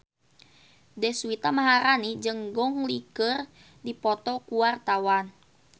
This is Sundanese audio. Deswita Maharani jeung Gong Li keur dipoto ku wartawan